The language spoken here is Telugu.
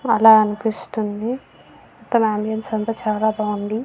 అలా అనిపిస్తుంది మొత్తం యాంబియన్స్ అంత చాలా బాగుంది.